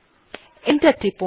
enter টিপুন